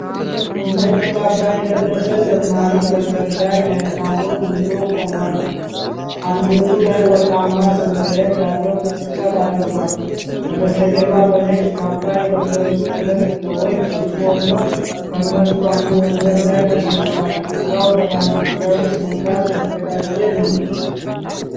ነጭ ካባ የለበሰ ዘማሪ መድረክ ላይ ማይክሮፎን ይዞ ቆሟል። አንገቱ ላይ ወርቃማ ሰንሰለት ያለው መስቀል አድርጓል። ከበስተጀርባ በነጭ ካባ የለበሱ ሁለት ሰዎች ሲቆሙ ከእነርሱ አንዱ ወንበር ላይ ተቀምጧል። ቦታው ለሃይማኖታዊ ስነ ስርዓት የተዘጋጀ ነው።